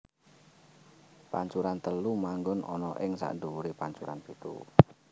Pancuran telu manggon ana ing sakndhuwuré pancuran pitu